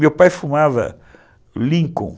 Meu pai fumava Lincoln.